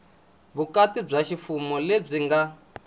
vukati bya ximfumo lebyi nga